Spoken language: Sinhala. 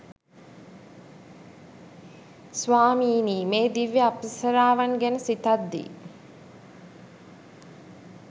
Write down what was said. ස්වාමීනී මේ දිව්‍ය අප්සරාවන් ගැන සිතද්දී